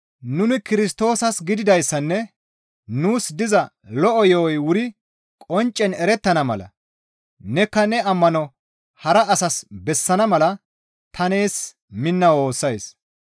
Nuni Kirstoosas gididayssanne nuus diza lo7o yo7oy wuri qonccen erettana mala nenikka ne ammano hara asas bessana mala ta nees minna woossays.